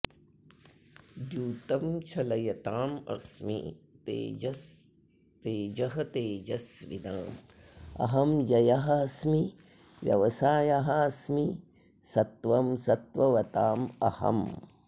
द्यूतं छलयताम् अस्मि तेजः तेजस्विनाम् अहम् जयः अस्मि व्यवसायः अस्मि सत्त्वं सत्त्ववताम् अहम्